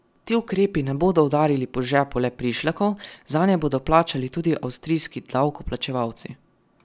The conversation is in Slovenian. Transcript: Ti ukrepi ne bodo udarili po žepu le prišlekov, zanje bodo plačali tudi avstrijski davkoplačevalci.